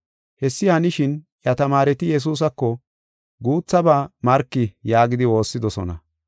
Hessi hanishin, iya tamaareti Yesuusako, “Guuthaba marki” yaagidi woossidosona.